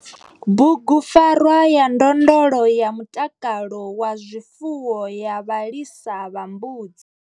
BUGUPFARWA YA NDONDOLO YA MUTAKALO WA ZWIFUWO YA VHALISA VHA MBUDZI.